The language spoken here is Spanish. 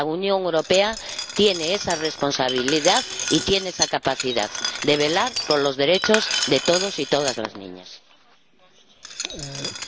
La Unión Europea tiene esa responsabilidad y tiene esa capacidad de velar por los derechos de todos los niños y todas las niñas.